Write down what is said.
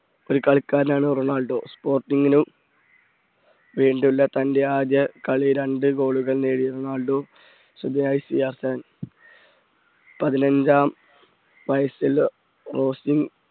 ഒരു കളിക്കാരനാണ് Ronaldo sporting നോ സ്പോർട്ടിംഗിന് വേണ്ടിയുള്ള തൻറെ ആദ്യ കളി രണ്ടു goal കൾ നേടിയറൊണാൾഡോ പതിനഞ്ചാം വയസ്സിൽ റോസ്റ്റിൻ